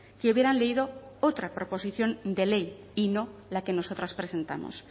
que hubieran leído otra proposición de ley y no la que nosotras presentamos